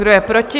Kdo je proti?